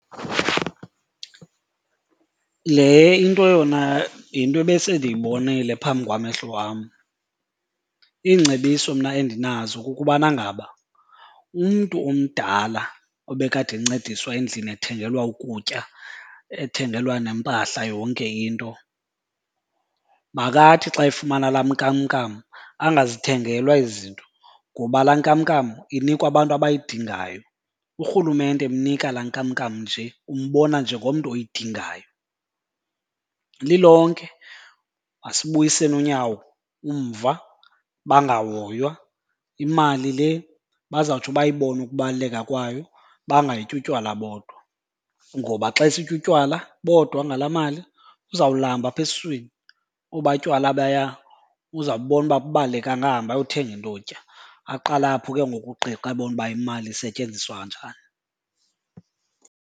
Le into yona yinto ebesendiyibonile phambi kwamehlo wam. Iingcebiso mna endinazo kukubana ngaba umntu omdala ebekade encediswa endlini ethengelwa ukutya ethengelwa nempahla yonke into makathi xa efumana laa nkamnkam angazithengelwa ezi zinto ngoba laa nkamnkam inikwa abantu abayidingayo. Urhulumente emnika laa nkamnkam nje umbona njengomntu oyidingayo. Lilonke masibuyiseni unyawo umva bangahoywa, imali le bazawutsho bayibone ukubaluleka kwayo bangayityi utywala bodwa. Ngoba xa esitya utywala bodwa ngalaa mali uzawulamba apha esiswini, obaa tywala obaya uzawububona uba abubalulekanga ahambe ayothenga into yotya. Aqale apho ke ngoku uqiqa abone uba imali isetyenziswa kanjani.